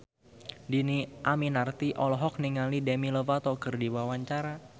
Dhini Aminarti olohok ningali Demi Lovato keur diwawancara